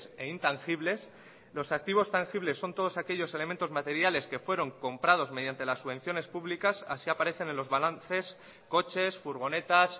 e intangibles los activos tangibles son todos aquellos elementos materiales que fueron comprados mediante las subvenciones públicas así aparecen en los balances coches furgonetas